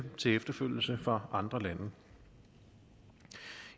til efterfølgelse for andre lande